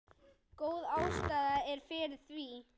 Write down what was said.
Góð ástæða er fyrir því.